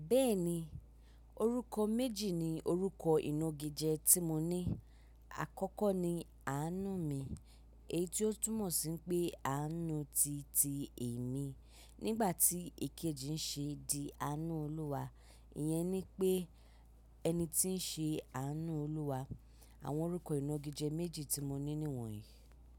Bẹ́ẹ̀ni, orúkọ méjì ni orúkọ ìnagíjẹ tí mo ní. Àkọ́kọ́ ni Àánú mi, èyí tó túmọ̀ sí pé Àánú ti ti èmi. Nígbà tí èkejì ń ṣe di Àánú Olúwa, iyẹn ni pé ẹni tí ń ṣe Àánú Olúwa. Àwọn orúkọ ìnú gíjẹ méjì tí mo ní ni wọ̀nyí.